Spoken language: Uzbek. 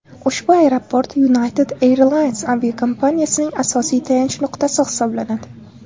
Ushbu aeroport United Airlines aviakompaniyasining asosiy tayanch nuqtasi hisoblanadi.